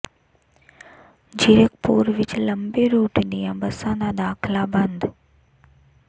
ਜ਼ੀਰਕਪੁਰ ਵਿੱਚ ਲੰਮੇ ਰੂਟ ਦੀਆਂ ਬੱਸਾਂ ਦਾ ਦਾਖਲਾ ਬੰਦ